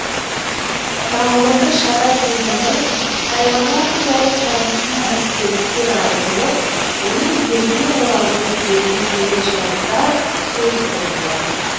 тағылымды шара кезінде тайқазан туралы тарихи естеліктер айтылып оның елге оралуы кезіндегі жайттар сөз болды